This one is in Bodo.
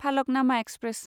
फालकनामा एक्सप्रेस